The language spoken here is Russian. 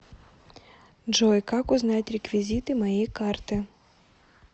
джой как узнать реквизиты моей карты